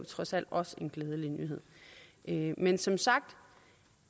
trods alt også en glædelig nyhed nyhed men som sagt